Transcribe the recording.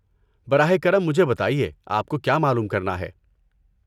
براہ کرم مجھے بتائیے آپ کو کیا معلوم کرنا ہے۔